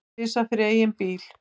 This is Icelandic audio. Varð tvisvar fyrir eigin bíl